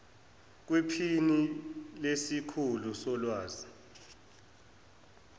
kwiphini lesikhulu solwazi